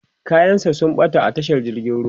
kayan sa sun ɓata a tashar jirgin ruwa